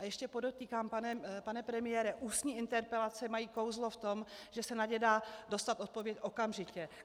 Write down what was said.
A ještě podotýkám, pane premiére, ústní interpelace mají kouzlo v tom, že se na ně dá dostat odpověď okamžitě.